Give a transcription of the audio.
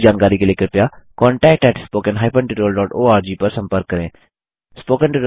अधिक जानकारी के लिए कृपया contact at spoken hyphen tutorial dot org पर संपर्क करें